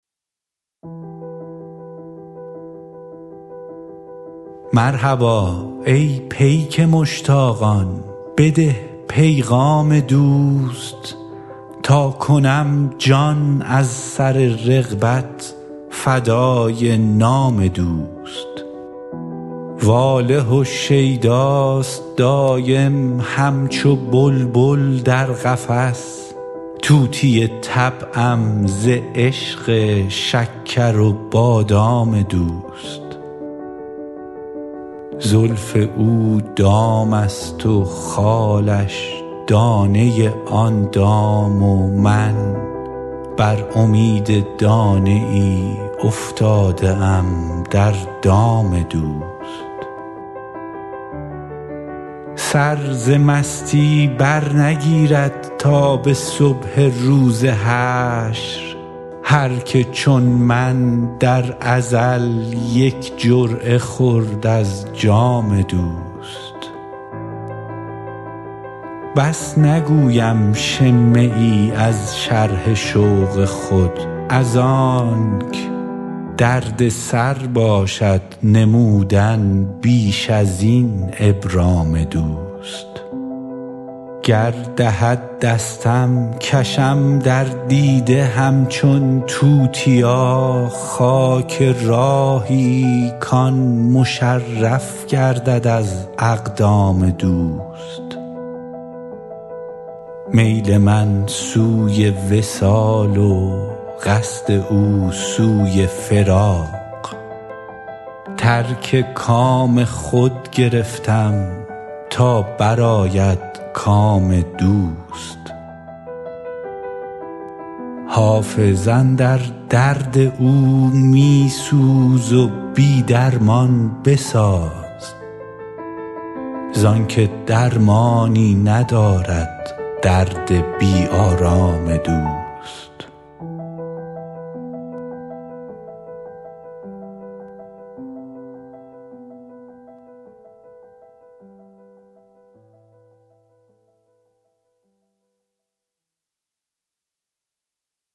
مرحبا ای پیک مشتاقان بده پیغام دوست تا کنم جان از سر رغبت فدای نام دوست واله و شیداست دایم همچو بلبل در قفس طوطی طبعم ز عشق شکر و بادام دوست زلف او دام است و خالش دانه آن دام و من بر امید دانه ای افتاده ام در دام دوست سر ز مستی برنگیرد تا به صبح روز حشر هر که چون من در ازل یک جرعه خورد از جام دوست بس نگویم شمه ای از شرح شوق خود از آنک دردسر باشد نمودن بیش از این ابرام دوست گر دهد دستم کشم در دیده همچون توتیا خاک راهی کـ آن مشرف گردد از اقدام دوست میل من سوی وصال و قصد او سوی فراق ترک کام خود گرفتم تا برآید کام دوست حافظ اندر درد او می سوز و بی درمان بساز زان که درمانی ندارد درد بی آرام دوست